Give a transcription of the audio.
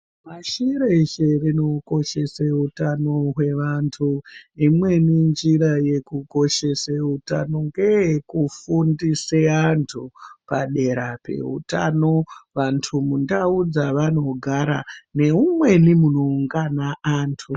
Pashi reshe rinokoshese utano wevantu imweni njira yekukoshese utano ngeyekufundise antu padera peutano vantu mundau dzavanogara nemumweni munoungana antu.